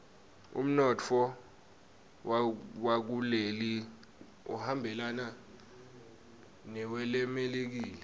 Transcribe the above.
umnotfo wakuleli uhambelana newelemelika